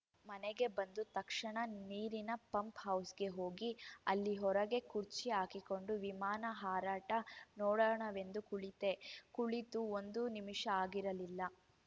ಮನೆಗೆ ಬಂದು ತಕ್ಷಣ ನೀರಿನ ಪಂಪ್‌ ಹೌಸ್‌ಗೆ ಹೋಗಿ ಅಲ್ಲಿ ಹೊರಗೆ ಕುರ್ಚಿ ಹಾಕಿಕೊಂಡು ವಿಮಾನ ಹಾರಾಟ ನೋಡೋಣವೆಂದು ಕುಳಿತೆ ಕುಳಿತು ಒಂದು ನಿಮಿಷ ಆಗಿರಲಿಲ್ಲ